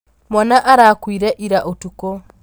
Mwana arakuire ira ũtukũ.